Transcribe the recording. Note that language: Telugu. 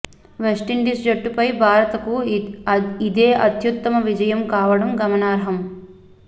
వెస్టిండీస్ జట్టుపై భారత్ కు ఇదే అత్యుత్తమ విజయం కావడం గమనార్హం